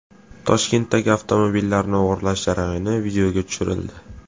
Toshkentdagi avtomobillarni o‘g‘irlash jarayoni videoga tushirildi.